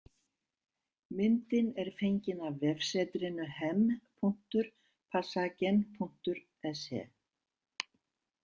Myndin er fengin af vefsetrinu hem.passagen.se